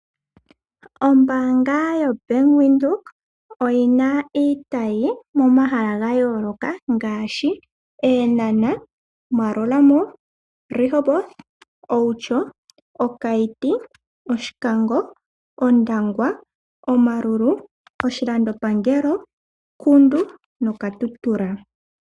Ombaanga yo Bank Windhoek oyi na iitayi momahala ga yooloka ngaashi Eenhana, Maerua Mall, Rehoboth, Outjo, Okayiti, Oshikango, Ondangwa, Omaruru, oshilandopangelo, Kudu no Katutura.